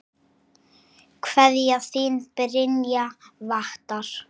Kveðja, þín Brynja Vattar.